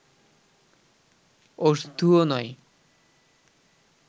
ওষধু ও নয়